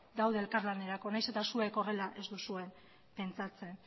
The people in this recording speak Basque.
daude elkar lanerako nahiz eta zuek horrela ez duzue pentsatzen